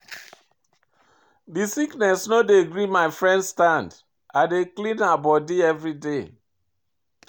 Dis sickness no dey gree my friend stand, I dey clean her bodi everyday.